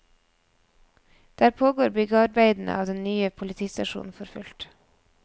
Der pågår byggearbeidene av den nye politistasjonen for fullt.